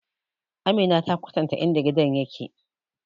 Amina ta kwatanta in da gidan yake